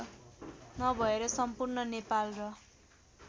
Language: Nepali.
नभएर सम्पूर्ण नेपाल र